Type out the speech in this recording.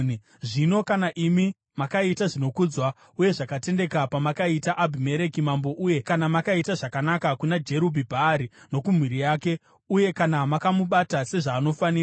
“Zvino kana imi makaita zvinokudzwa uye zvakatendeka pamakaita Abhimereki mambo, uye kana makaita zvakanaka kuna Jerubhi-Bhaari nokumhuri yake, uye kana makamubata sezvaanofanira,